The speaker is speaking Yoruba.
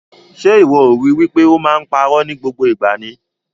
Ṣe iwọ o ri wipe o máa n pa ìró ni gbogbo ìgbà ni?